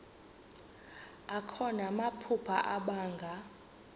akho namaphupha abanga